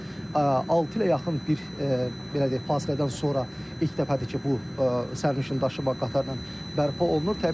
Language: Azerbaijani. Bu isə altı ilə yaxın bir belə deyək fasilədən sonra ilk dəfədir ki, bu sərnişin daşıma qatarla bərpa olunur.